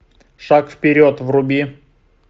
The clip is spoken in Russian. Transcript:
шаг вперед вруби